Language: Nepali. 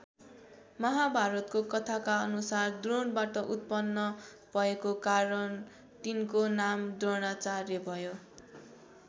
महाभारतको कथाका अनुसार द्रोणबाट उत्पन्न भएको कारण तिनको नाम द्रोणाचार्य भयो।